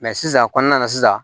sisan kɔnɔna na sisan